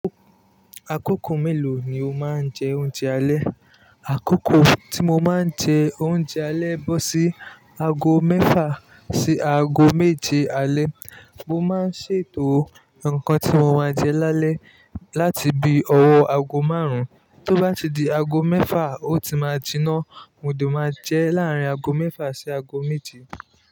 Àkókò mélòó ni o máa ń jẹ oúnjẹ alẹ́? Àkókò tí mo máa ń jẹ oúnjẹ alẹ́ bọ́ sí ago mẹ́fà sí ago méje alẹ́. Mo máa ń ṣètò nǹkan tí mo máa jẹ lálẹ́ láti bí ọwọ́ ago márùn-ún. Tó bá ti di ago mẹ́fà, ó ti máa jiná, mo de máa jẹ láàrín ago mẹ́fà sí ago méje.